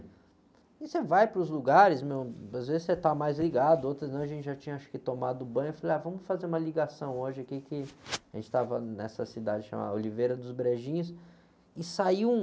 E você vai para os lugares, às vezes você está mais ligado, outras não, a gente já tinha acho que tomado banho, falei, ah, vamos fazer uma ligação hoje aqui, a gente estava nessa cidade chamada Oliveira dos Brejinhos, e saiu um...